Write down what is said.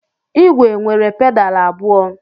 Igwe nwere pedalu abụọ.